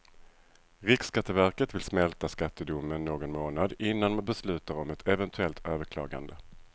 Riksskatteverket vill smälta skattedomen någon månad innan man beslutar om ett eventuellt överklagande.